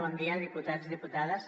bon dia diputats diputades